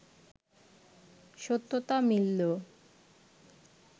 সত্যতা মিললো